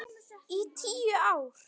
Í tíu ár.